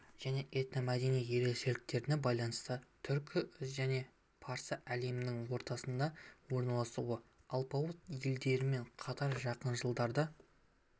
және этномәдени ерекшеліктеріне байланысты түркі және парсы әлемінің ортасында орналасуы алпауыт елдермен қатар жақын жылдарда